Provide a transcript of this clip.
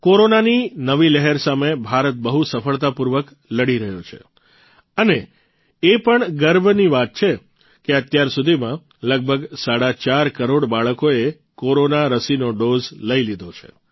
કોરોનાની નવી લહેર સામે ભારત બહુ સફળતાપૂર્વક લડી રહ્યો છે અને એ પણ ગર્વની વાત છે કે અત્યારસુધીમાં લગભગ સાડા ચાર કરોડ બાળકોએ કોરોના રસીનો ડોઝ લઇ લીધો છે